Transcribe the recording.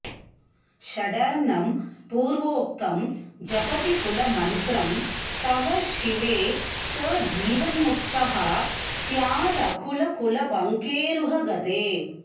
षडर्णं पूर्वोक्तं जपति कुलमन्त्रं तव शिवे स जीवन्मुक्तः स्यादकुलकुलपङ्केरुहगते